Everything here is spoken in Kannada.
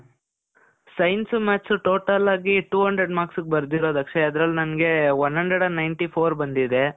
science, math's total ಆಗಿ two hundred marks ಗೆ ಬರ್ದಿರೋದು ಅಕ್ಷಯ್. ಅದ್ರಲ್ಲಿ ನನ್ಗೆ one hundred and ninety fourಬಂದಿದೆ.